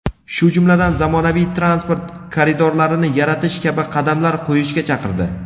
shu jumladan zamonaviy transport koridorlarini yaratish kabi qadamlar qo‘yishga chaqirdi.